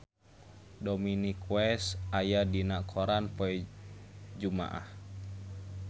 Dominic West aya dina koran poe Jumaah